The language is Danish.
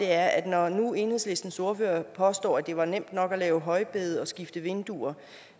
er når nu enhedslistens ordfører påstår at det var nemt nok at lave højbede og skifte vinduer